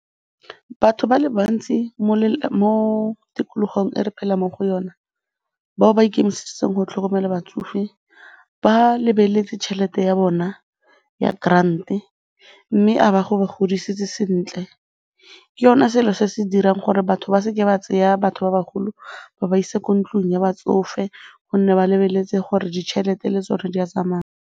Batho ba le bantsi mo tikologong e re phelang mo go yona, bao ba ikemiseditseng go tlhokomela batsofe ba lebeletse tšhelete ya bona ya grand-e mme godisitse sentle. Ke yone selo se se dirang gore batho ba se ke ba tseya batho ba bagolo ba ba isa ko ntlong ya batsofe gonne ba lebeletse gore ditšhelete le tsone di a tsamaya.